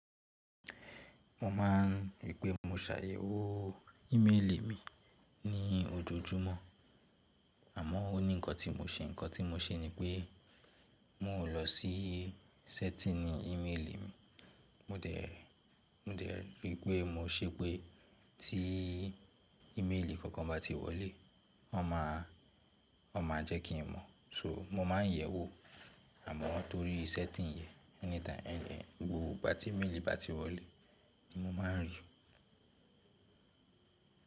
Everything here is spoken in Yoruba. Mo máà ń rí i pé mo ṣàyẹ̀wò ìméèlì mi ní ojoojúmọ́, àmọ́ ó ní nnkan tí mo ṣe, nnkan tí mo ṣe ni pé mo ò lọ sí sẹ́tìnì ìméèlì mi, mo de mo dẹ̀ ri pé mo ṣe pé tí ìméèlì kankan bá ti wọlé, wọn máa jẹ́ kí n mọ̀. So mo máa ń yẹ̀wò, àmọ́ torí sẹ́tìn yẹn, ẹni tí ẹni ẹni gbogbo ìbá tí ìméèlì bá ti wọlé ni mo máa ń rí i.